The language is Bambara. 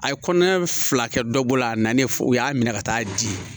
A ye kɔnɔɲɛ fila kɛ dɔbɔ la a nalen fɔ u y'a minɛ ka taa di